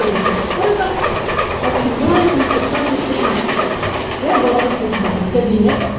времени сейчас сколько в общем было этом в шестнадцать пятнадцать я была под кабинетом кабинет